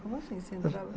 Como assim você entrava?